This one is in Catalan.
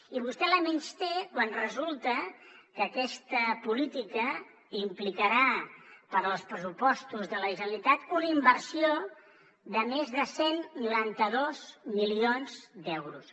i vostè la menysté quan resulta que aquesta política implicarà per als pressupostos de la generalitat una inversió de més de cent i noranta dos milions d’euros